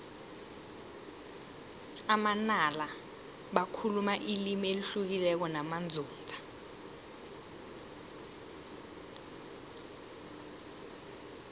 amanala bakhuluma ilimi elihlukileko namanzunza